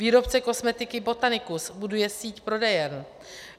Výrobce kosmetiky Botanicus buduje síť prodejen.